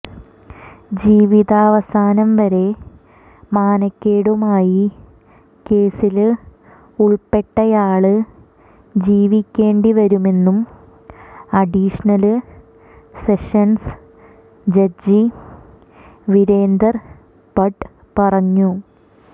ജീവിതാവസാനംവരെ മാനക്കേടുമായി കേസില് ഉള്പ്പെട്ടയാള് ജീവിക്കേണ്ടിവരുമെന്നും additional sessions judge Virender Bhatt പറഞ്ഞു